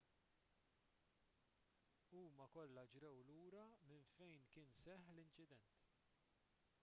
huma kollha ġrew lura minn fejn kien seħħ l-inċident